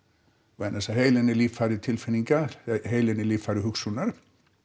vegna þess að heilinn er líffæri tilfinninga heilinn er líffæri hugsunar